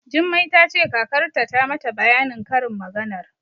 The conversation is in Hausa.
Jummai ta ce kakarta ta mata bayanin karin maganar.